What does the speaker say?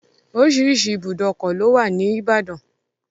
Oríṣiríṣi ìbùdókọ̀ lówà ní ìbàdàn.